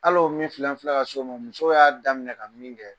Alo ye min filɛ an filɛ ka s'o ma musow y'a daminɛ ka min kɛ